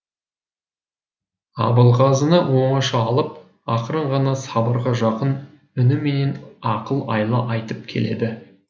абылғазыны оңаша алып ақырын ғана сыбырға жақын үніменен ақыл айла айтып келеді